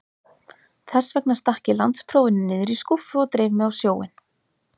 Þessvegna stakk ég landsprófinu niður í skúffu og dreif mig á sjóinn.